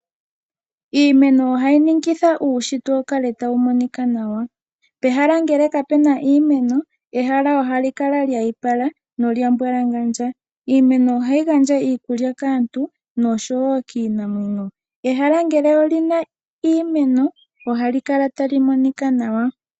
Iimeno ohayi ningitha uunshitwe wukale tawu monika nawa. Pehala ngele kapena iimeno ehala ihali kala lyoopala nopwa mbwalangandja. Iimeno ohayi gandja iikulya kaantu noshowo kiinamwenyo. Ehala ngele olina iimeno ohali kala tali monika nawa.